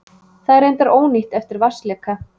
Það er reyndar ónýtt eftir vatnsleka